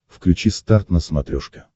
включи старт на смотрешке